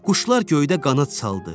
Quşlar göydə qanad saldı.